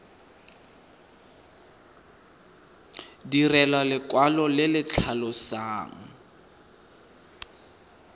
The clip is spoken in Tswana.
direlwa lekwalo le le tlhalosang